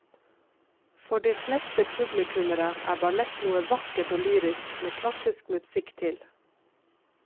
For de fleste publikummere er ballett noe vakkert og lyrisk med klassisk musikk til.